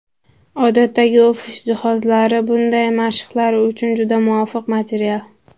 Odatdagi ofis jihozlari bunday mashqlar uchun juda muvofiq material.